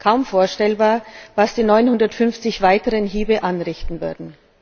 Kaum vorstellbar, was die 950 weiteren Hiebe anrichten würden.